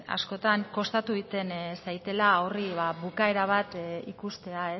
askotan kostatu egiten zaidala horri bukaera bat ikustea